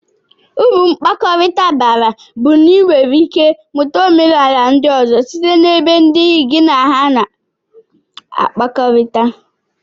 Uru mkpakọrita bara bu na inwere ike imuta omenala ndi ozo site na ebe ndi gi na aha na akpakọrita.